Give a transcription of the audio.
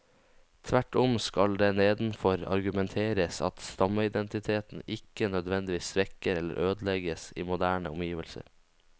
Tvert om skal det nedenfor argumenteres at stammeidentiteten ikke nødvendigvis svekkes eller ødelegges i moderne omgivelser.